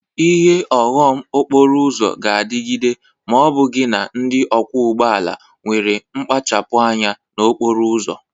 Ihe ụghọm okporo ụzọ ga-adịghịde ma ọ bụghị na ndị ọkwọ ụgbọ ala nwere mpachapụ anya n'okporo ụzọ.